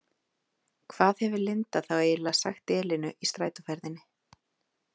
Hvað hefur Linda þá eiginlega sagt Elínu í strætóferðinni?